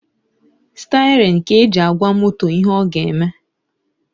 Stirin ka e ji agwa moto ihe ọ ga-eme